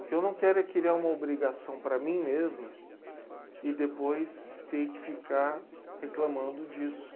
O que eu não quero é criar uma obrigação para mim mesmo e depois ter que ficar reclamando disso.